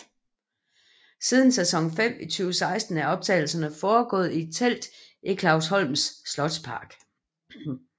Siden sæson 5 i 2016 er optagelserne forgået i et telt i Clausholms slotspark